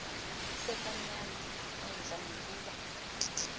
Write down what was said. sekamnyama entla nokuba